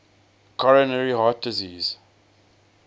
coronary heart disease